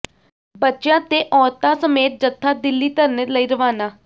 ਬੱਚਿਆਂ ਤੇ ਔਰਤਾਂ ਸਮੇਤ ਜਥਾ ਦਿੱਲੀ ਧਰਨੇ ਲਈ ਰਵਾਨਾ